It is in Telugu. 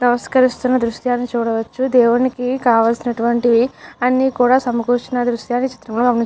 నమస్కరిస్తున్న దృశ్యాన్ని చూడవచ్చు దేవునికి కావాల్సినటువంటి అన్ని కూడా సమకూర్చిన దృశ్యాలు ఏ చిత్రం లో --